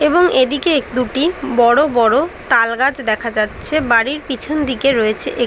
এবং এদিকে এক দুটি বড় বড় তালগাছ দেখা যাচ্ছে। বাড়ির পিছন দিকে রয়েছে এক --